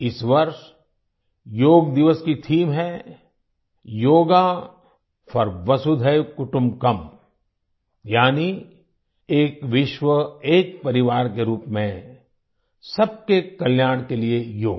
इस वर्ष योग दिवस की थीम है योगा फोर वसुधैव कुटुंबकम यानि एक विश्वएक परिवार के रूप में सबके कल्याण के लिए योग